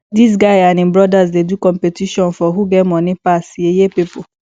dis guy and im brodas dey do competition for who get moni pass yeye pipo